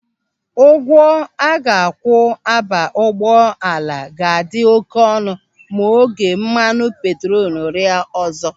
Ụgwọ a ga-akwụ aba ụgbọala ga-adị oké ọnụ ma ego mmanụ petrolu rịa ọzọ.